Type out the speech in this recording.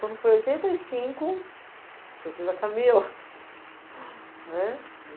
Quando foi em oitenta e cinco, eu tive a Camila, né,